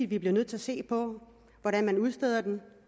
vi bliver nødt til at se på hvordan man udsteder den